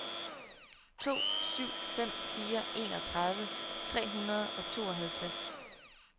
to syv fem fire enogtredive tre hundrede og tooghalvtreds